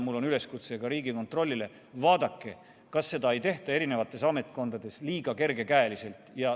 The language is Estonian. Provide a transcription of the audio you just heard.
Mul on üleskutse Riigikontrollile: vaadake, kas seda ei tehta eri ametkondades liiga kergekäeliselt.